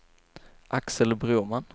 Axel Broman